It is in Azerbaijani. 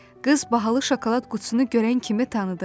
Qız bahalı şokolad qutusunu görən kimi tanıdı.